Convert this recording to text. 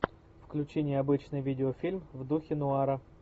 включи необычный видеофильм в духе нуара